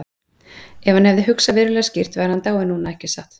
Ef hann hefði hugsað verulega skýrt væri hann dáinn núna, ekki satt?